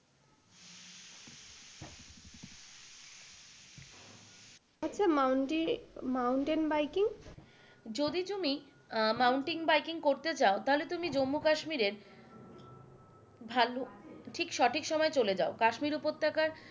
আচ্ছা mountain mountain biking? যদি তুমি মাউন্টেন বাইকিংকরতে চাও তাহলে তুমি জম্মু কাশ্মীরে ঢালু ঠিক সঠিক সময়ে চলে যাও কাশ্মীর উপত্যকায়,